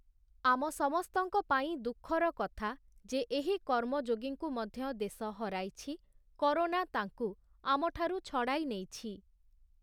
ଆମ ସମସ୍ତଙ୍କ ପାଇଁ ଦୁଃଖର କଥା ଯେ ଏହି କର୍ମଯୋଗୀଙ୍କୁ ମଧ୍ୟ ଦେଶ ହରାଇଛି, କରୋନା ତାଙ୍କୁ ଆମଠାରୁ ଛଡ଼ାଇ ନେଇଛି ।